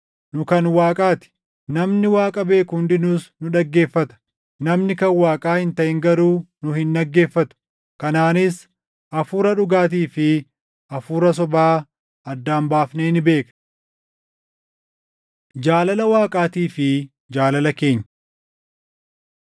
Nu kan Waaqaa ti; namni Waaqa beeku hundinuus nu dhaggeeffata; namni kan Waaqaa hin taʼin garuu nu hin dhaggeeffatu. Kanaanis Hafuura dhugaatii fi hafuura sobaa addaan baafnee ni beekna. Jaalala Waaqaatii fi Jaalala Keenya